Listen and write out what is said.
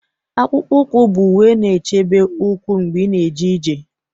Akpụkpọ ụkwụ bụ uwe na-echebe ụkwụ mgbe ị na-eje ije